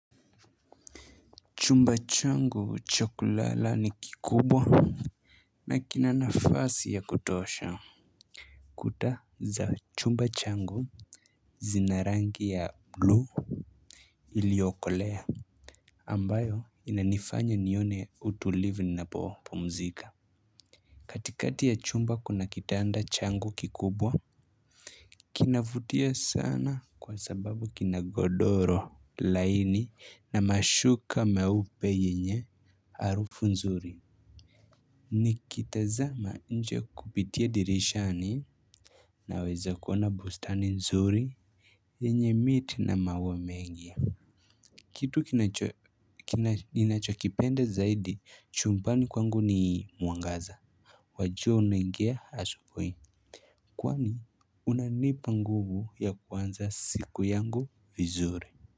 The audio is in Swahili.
Chumba changu cha kulala ni kikubwa na kina nafasi ya kutosha. Kuta za chumba changu zinarangi ya blu iliokolea ambayo inanifanya nione utulivu ninapopumzika. Katikati ya chumba kuna kitanda changu kikubwa. Kinavutia sana kwa sababu kinagodoro laini na mashuka meupe yenye harufu nzuri. Nikitazama nje kupitia dirishani naweza kuona bustani nzuri yenye miti na maua mengi. Kitu ninachokipenda zaidi chumbani kwangu ni mwangaza. Wajua unaingia asubuhi kwani unanipa nguvu ya kwanza siku yangu vizuri.